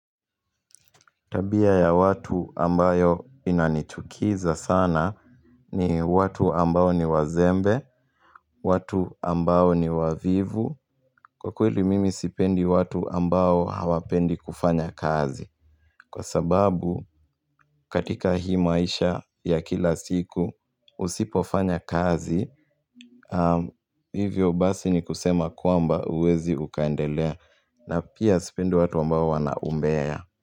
Tabia ya watu ambayo inanichukiza sana ni watu ambao ni wazembe, watu ambao ni wavivu, kwa kweli mimi sipendi watu ambao hawapendi kufanya kazi. Kwa sababu katika hii maisha ya kila siku usipofanya kazi, hivyo basi ni kusema kwamba uwezi ukaendelea na pia sipendi watu ambao wanaumbea.